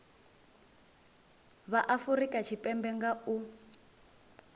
vha afurika tshipembe nga u